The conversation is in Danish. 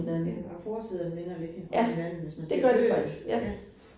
Ja, og forsiderne minder lidt om hinanden, hvis man ser bøgerne ja